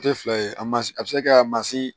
Tɛ fila ye a ma a bɛ se ka mansin